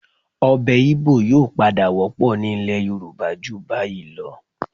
Ọbẹ̀ Igbò yóò padà wọ́pọ̀ ní ilẹ̀ Yorùbá ju báyìí lọ